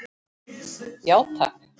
Já, takk.